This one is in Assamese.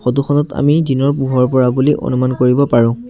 ফটো খনত আমি দিনৰ পোহৰ পৰা বুলি অনুমান কৰিব পাৰোঁ।